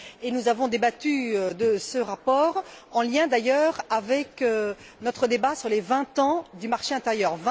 Et nous avons débattu de ce rapport, en lien d'ailleurs avec notre débat sur les vingt ans du marché intérieur.